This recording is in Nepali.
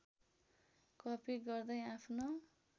कपी गर्दै आफ्नो